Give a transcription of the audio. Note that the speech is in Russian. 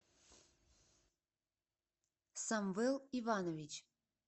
самвел иванович